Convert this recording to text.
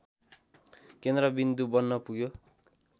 केन्द्रविन्दु बन्नपुग्यो